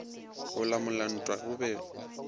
go lamola ntwa go be